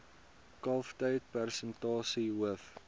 kalftyd persentasie hoof